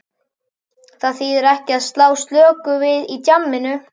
Það þýðir ekki að slá slöku við í djamminu.